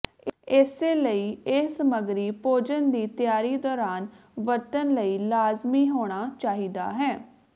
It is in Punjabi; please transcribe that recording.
ਇਸੇ ਲਈ ਇਹ ਸਮੱਗਰੀ ਭੋਜਨ ਦੀ ਤਿਆਰੀ ਦੌਰਾਨ ਵਰਤਣ ਲਈ ਲਾਜ਼ਮੀ ਹੋਣਾ ਚਾਹੀਦਾ ਹੈ